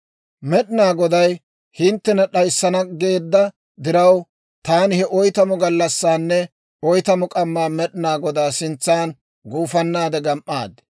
«Med'inaa Goday hinttena d'ayissana geedda diraw, taani he oytamu gallassaanne oytamu k'ammaa Med'inaa Godaa sintsan gufannaade gam"aad.